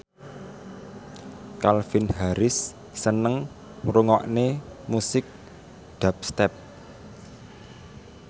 Calvin Harris seneng ngrungokne musik dubstep